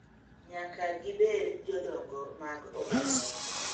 Nyaka gibed jodongo mag oganda.